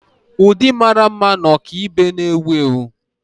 Ụdị mara mma na ọkaibe na-ewu ewu.